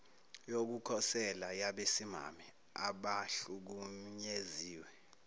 yokukhosela yabesimame abahlukunyeziwe